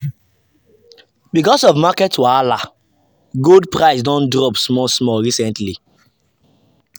because of market wahala gold price don drop small small recently.